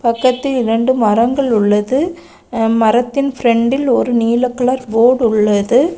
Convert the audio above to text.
பக்கத்தில் இரண்டு மரங்கள் உள்ளது மரத்தின் பிரண்டில் ஒரு நீல கலர் போடு உள்ளது.